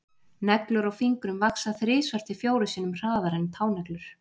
Neglur á fingrum vaxa þrisvar til fjórum sinnum hraðar en táneglur.